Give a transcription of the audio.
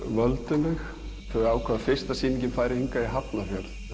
valinu þau ákváðu að fyrsta sýningin færi í Hafnarfjörð